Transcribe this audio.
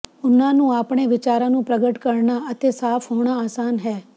ਉਨ੍ਹਾਂ ਨੂੰ ਆਪਣੇ ਵਿਚਾਰਾਂ ਨੂੰ ਪ੍ਰਗਟ ਕਰਨਾ ਅਤੇ ਸਾਫ ਹੋਣਾ ਆਸਾਨ ਹੈ